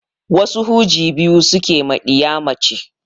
Wasu huji biyu suke ma ɗiya mace